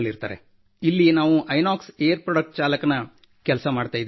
ಇಲ್ಲಿ ನಾವು Inox air product ಚಾಲಕನ ಕೆಲಸ ಮಾಡುತ್ತಿದ್ದೇವೆ